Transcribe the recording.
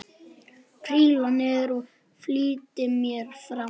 Príla niður og flýti mér fram.